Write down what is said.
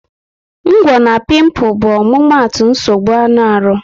Ngwo na piimpu bụ omumatu nsogbu anụ arụ